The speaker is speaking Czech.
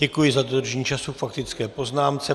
Děkuji za dodržení času k faktické poznámce.